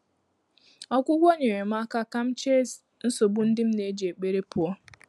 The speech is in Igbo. Ọ́gwụ́gwọ́ nyeerem m áká kà m chèé nsógbú ndị́ m nà-éjí ékpèré pụ́ọ́.